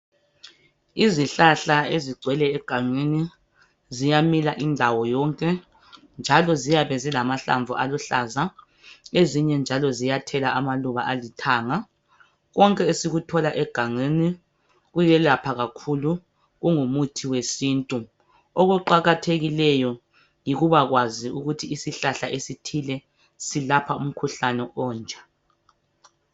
Izihlahla ezigcwele egangeni zimile yonke indawo njalo ziyabe zilamahlamvu aluhlaza ezinye njalo ziyathela amahlamvu alithanga konke esithola egangeni kuyelapha kakhulu kungumuthi wesintu okuqakathekileyo yikubakwazi ukuthi isihlahla esithile selapha umkhuhlane onje